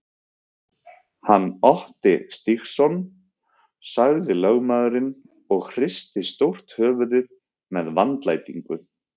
Hann Otti Stígsson, sagði lögmaðurinn og hristi stórt höfuðið með vandlætingu.